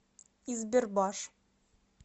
избербаш